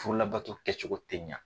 Furu labato kɛcogo tɛ ɲa.